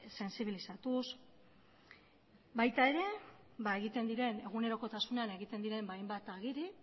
sentsibilatuz baita ere egunerokotasunean egiten diren hainbat agiri